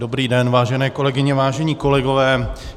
Dobrý den, vážené kolegyně, vážení kolegové.